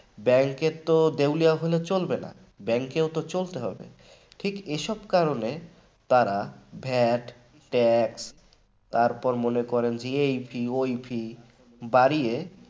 bank র তো দেউলিয়া হলে চলবে না bank ও তো চলতে হবে এসব কারণে তারা vattax তারপরে মনে করেন এই fee ওই fee